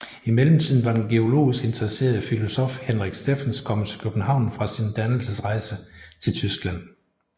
I mellemtiden var den geologisk interesserede filosof Henrik Steffens kommet til København fra sin dannelsesrejse til Tyskland